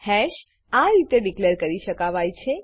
hash આરીતે declare કરી શકાવાય છે